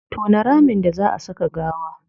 Tona ramin da zaa a saka gawa